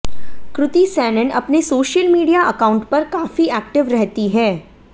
कृति सैनन अपने social media account पर काफी ऐक्टिव रहती हैं